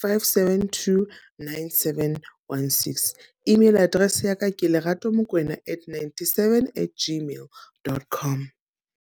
five, seven, two, nine, seven, one, six. Email address yaka ke Lerato Mokwena at ninety-seven at gmail. dot com.